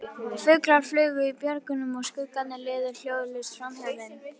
Fuglar flugu í björgunum og skuggarnir liðu hljóðlaust framhjá þeim.